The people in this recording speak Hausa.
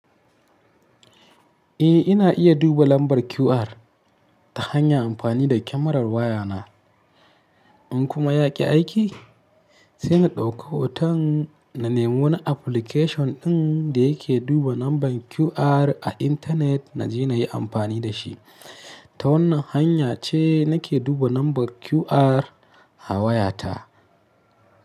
Eh ina iya duba lambar QR ta hanya amfani da kyamarar wayana in kuma ya ki aiki sai na ɗauko hoton na nemo wani application ɗin da yake duba lambar QR a intanet na je na yi amfani da shi. Ta wannan hanya ce nake duba lambar QR a wayata.